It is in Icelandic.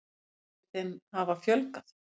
Hann segir þeim hafa fjölgað.